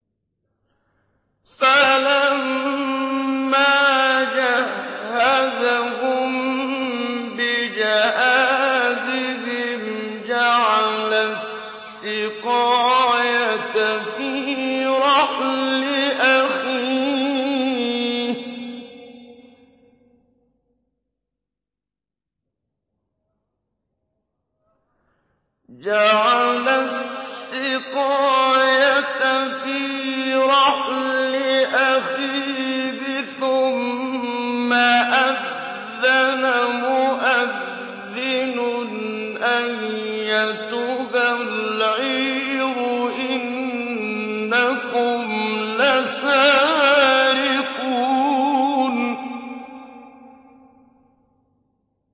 فَلَمَّا جَهَّزَهُم بِجَهَازِهِمْ جَعَلَ السِّقَايَةَ فِي رَحْلِ أَخِيهِ ثُمَّ أَذَّنَ مُؤَذِّنٌ أَيَّتُهَا الْعِيرُ إِنَّكُمْ لَسَارِقُونَ